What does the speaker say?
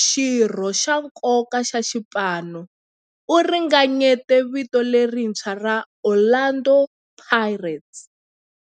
xirho xa nkoka xa xipano, u ringanyete vito lerintshwa ra 'Orlando Pirates'.